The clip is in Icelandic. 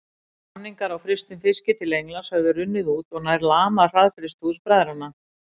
Samningar á frystum fiski til Englands höfðu runnið út og nær lamað hraðfrystihús bræðranna.